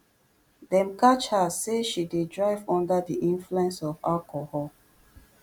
dem catch her say she dey drive under di influence of alcohol